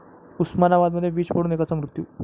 उस्मानाबादमध्ये वीज पडून एकाचा मृत्यू